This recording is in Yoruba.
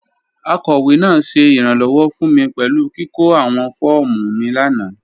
Akọwe naa ṣẹ iranlọwọ fun mi pẹlu kiko awọn fọọmu mi lana.